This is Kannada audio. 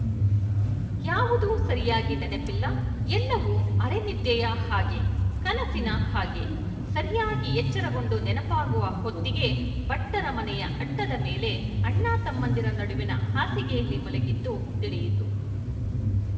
ಯಾವುದೂ ಸರಿಯಾಗಿ ನೆನಪಿಲ್ಲ ಎಲ್ಲವೂ ಅರನಿದ್ದೆಯ ಹಾಗೆ ಕನಸಿನ ಹಾಗೆ ಸರಿಯಾಗಿ ಎಚ್ಚರಗೊಂಡು ನೆನಪಾಗುವ ಹೊತ್ತಿಗೆ ಭಟ್ಟರ ಮನೆಯ ಅಟ್ಟದ ಮೇಲೆ ಅಣ್ಣತಮ್ಮಂದಿರ ನಡುವಿನ ಹಾಸಿಗೆಯಲ್ಲಿ ಮಲಗಿದ್ದು ತಿಳಿಯಿತು